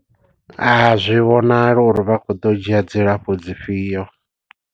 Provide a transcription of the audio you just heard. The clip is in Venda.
A zwi vhonali uri vha khou ḓo dzhia dzilafho dzi fhio.